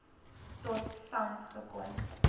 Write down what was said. tot stand gekom